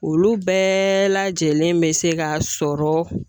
Olu bɛɛ lajɛlen bɛ se ka sɔrɔ.